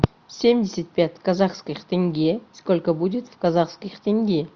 семьдесят пять казахских тенге сколько будет в казахских тенге